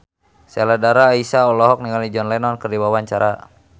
Sheila Dara Aisha olohok ningali John Lennon keur diwawancara